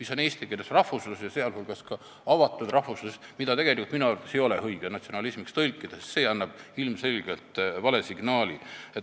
See on rahvuslus, sh avatud rahvuslus, mille kohta minu arvates ei ole õige tõlkes kasutada sõna "natsionalism", sest see annab ilmselgelt vale signaali.